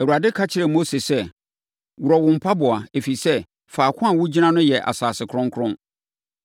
“Awurade ka kyerɛɛ Mose sɛ, ‘Worɔ wɔ mpaboa, ɛfiri sɛ, faako a wogyina no yɛ asase kronkron.